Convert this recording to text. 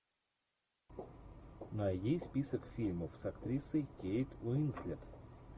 найди список фильмов с актрисой кейт уинслет